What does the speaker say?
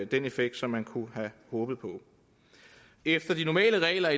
den effekt som man kunne have håbet på efter de normale regler